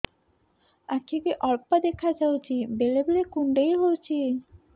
ଆଖି କୁ ଅଳ୍ପ ଦେଖା ଯାଉଛି ବେଳେ ବେଳେ କୁଣ୍ଡାଇ ହଉଛି